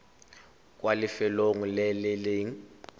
kwa lefelong le le nang